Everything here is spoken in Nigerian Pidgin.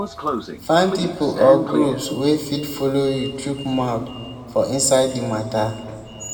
find pipo or groups wey fit follow you chook mouth for inside di matter